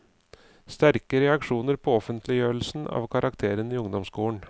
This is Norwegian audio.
Sterke reaksjoner på offentliggjørelsen av karakterene i ungdomsskolen.